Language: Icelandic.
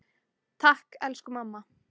Takk, elsku mamma.